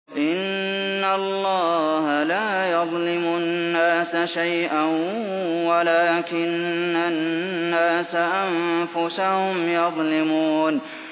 إِنَّ اللَّهَ لَا يَظْلِمُ النَّاسَ شَيْئًا وَلَٰكِنَّ النَّاسَ أَنفُسَهُمْ يَظْلِمُونَ